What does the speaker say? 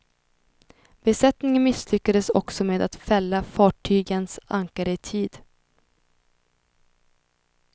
Besättningen misslyckades också med att fälla fartygens ankare i tid.